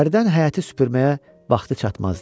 Hərdən həyəti süpürməyə vaxtı çatmazdı.